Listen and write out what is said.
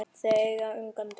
Þau eiga ungan dreng.